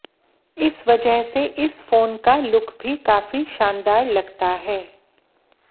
इस वजह से इस फोन का लुक भी काफी शानदार लगता है